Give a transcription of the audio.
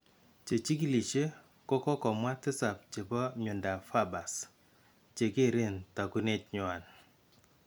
Chechikilishe ko komwa tisap cheebo myondap Farber's che keeren taakunet nywan